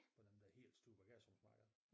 På dem der helt store bagagerumsmarkeder